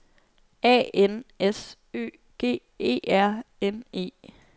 A N S Ø G E R N E